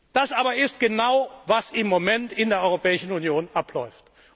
Das aber ist genau das, was im Moment in der Europäischen Union abläuft.